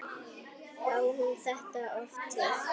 Á hún þetta oft til?